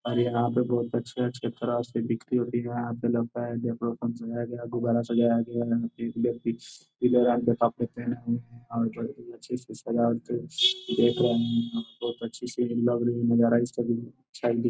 और यहाँ पे बोहोत अचे -अचे तरह से बिक्री हो रही है। यहाँ पे लगता है सजाया गया है गुब्बारा सजाया गया है। अचे से सजावट सी सजावट बोहोत अच्छी सी लग रही --